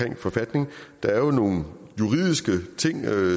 en forfatning og der er jo nogle juridiske ting